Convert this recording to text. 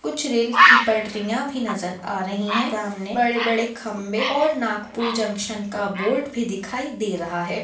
कुछ रेल की पटरियां भी नज़र आ रही है सामने बड़े-बड़े खम्बे और नागपुर जंक्शन का बोर्ड भी दिखाई दे रहा है।